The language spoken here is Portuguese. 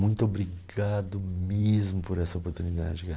Muito obrigado mesmo por essa oportunidade